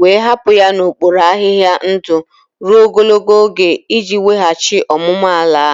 wee hapụ ya n'okpuru ahịhịa ndụ ruo ogologo oge iji weghachi ọmụmụ ala.